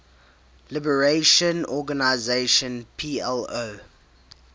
liberation organization plo